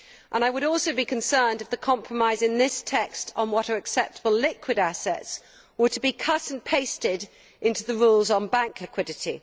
I would also be concerned if the compromise in this text on what are acceptable liquid assets were to be cut and pasted into the rules on bank liquidity.